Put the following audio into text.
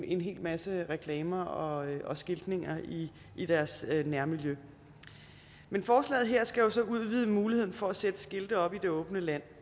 en hel masse reklamer og og skiltning i deres nærmiljø men forslaget her skal jo så udvide muligheden for at sætte skilte op i det åbne land